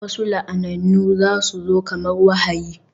Wasu la'anannu za su zo kamar wahayi